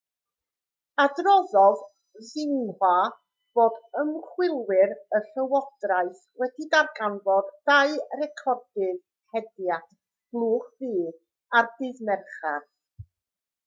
adroddodd xinhua fod ymchwilwyr y llywodraeth wedi darganfod dau recordydd hediad blwch du ar ddydd mercher